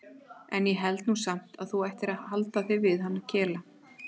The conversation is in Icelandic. En ég held nú samt að þú ættir að halda þig við hann Kela.